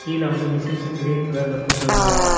கீழ வந்து machines green கலர்ல போட்ருக்காங்க.